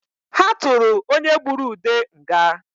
Ha tụrụ onye gbụrụ Ude nga